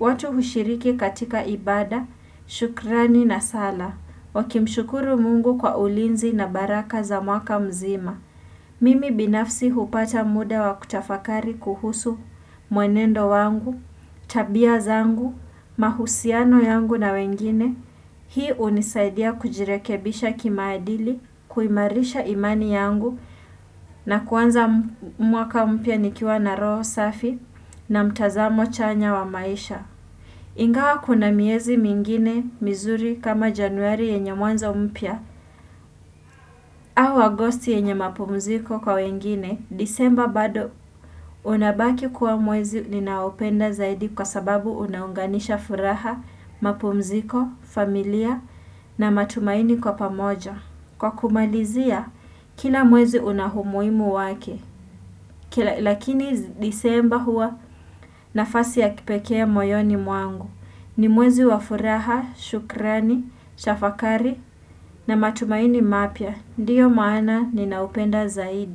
watu hushiriki katika ibada, shukrani na sala. Wakimshukuru mungu kwa ulinzi na baraka za mwaka mzima. Mimi binafsi hupata muda wa kutafakari kuhusu mwenendo wangu, tabia zangu, mahusiano yangu na wengine, hii unisaidia kujirekebisha kimaadili, kuimarisha imani yangu na kuanza mwaka mpya nikiwa na roho safi na mtazamo chanya wa maisha. Ingawa kuna miezi mingine mizuri kama januari yenye mwanza mpya au agosti yenye mapumziko kwa wengine, disemba bado unabaki kuwa mwezi ninaopenda zaidi kwa sababu unaunganisha furaha, mapumziko, familia na matumaini kwa pamoja. Kwa kumalizia, kila mwezi unahumuimu wake, lakini disemba hua nafasi ya kipekea moyoni mwangu. Ni mwezi wafuraha, shukrani, shafakari na matumaini mapya. Ndiyo maana ni naupenda zaidi.